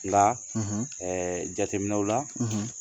Nga, ,, jateminɛw la,